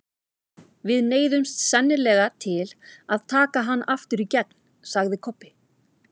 Við neyðumst sennilega til að taka hann aftur í gegn, sagði Kobbi.